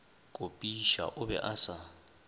kopiša o be a sa